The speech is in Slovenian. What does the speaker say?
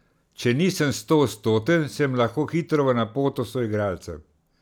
Če nisem stoodstoten, sem lahko hitro v napoto soigralcem.